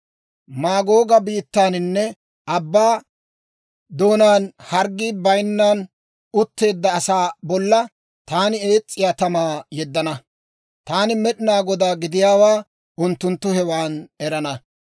Maagooga biittaaninne abbaa doonaan, hirggi bayinnan utteedda asaa bollan taani ees's'iyaa tamaa yeddana. Taani Med'inaa Godaa gidiyaawaa unttunttu hewan erana.